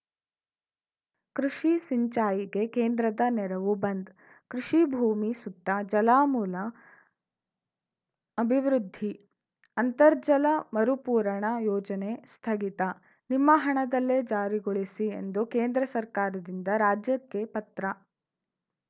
ಕೃಷಿ ಸಿಂಚಾಯಿಗೆ ಕೇಂದ್ರದ ನೆರವು ಬಂದ್‌ ಕೃಷಿಭೂಮಿ ಸುತ್ತ ಜಲಮೂಲ ಅಭಿವೃದ್ಧಿ ಅಂತರ್ಜಲ ಮರುಪೂರಣ ಯೋಜನೆ ಸ್ಥಗಿತ ನಿಮ್ಮ ಹಣದಲ್ಲೇ ಜಾರಿಗೊಳಿಸಿ ಎಂದು ಕೇಂದ್ರ ಸರ್ಕಾರದಿಂದ ರಾಜ್ಯಕ್ಕೆ ಪತ್ರ